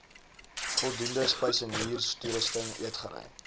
voldoende spysenierstoerusting eetgery